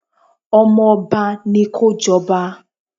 Ọmọba ni kó jọba.